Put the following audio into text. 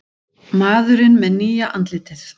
Maðurinn með nýja andlitið